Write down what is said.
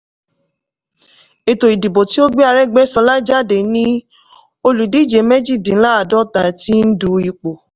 ètò ìdìbò tí ó gbé aregbesola jáde ní olùdíje mejidínláàdọ́ta tí n du ipò.